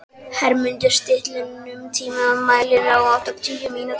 Hermundur, stilltu tímamælinn á áttatíu mínútur.